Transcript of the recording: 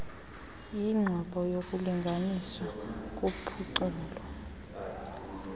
yinqobo yokulinganiswa kuphuculo